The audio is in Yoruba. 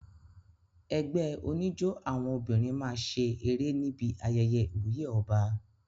Ẹgbẹ́ oníjó àwọn obìnrin máa ṣe eré níbi ayẹyẹ ìwúyè ọba.